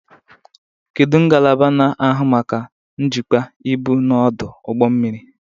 Kedu ngalaba na-ahụ maka njikwa ibu n'ọdụ ụgbọ mmiri?